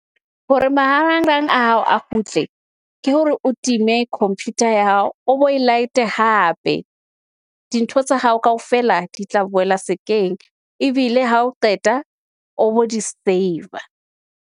Hore marangrang a hao a kgutle ke hore o time computer ya hao o bo e laete hape. Dintho tsa hao kaofela di tla boela sekeng, ebile ha o qeta o bo di saver.